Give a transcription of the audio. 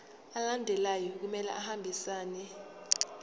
alandelayo kumele ahambisane